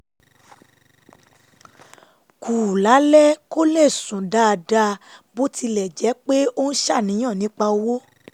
kù lálẹ́ kó lè sùn dáadáa bó tilẹ̀ jẹ́ pé ó ń ṣàníyàn nípa owó